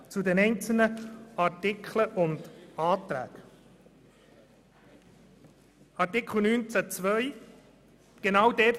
Nun zu den einzelnen Anträgen, zuerst zu Artikel 19 Absatz 2: